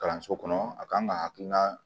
Kalanso kɔnɔ a kan ka hakilina